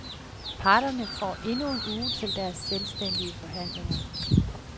Parterne får endnu en uge til deres selvstændige forhandlinger.